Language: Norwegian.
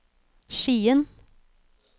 Skien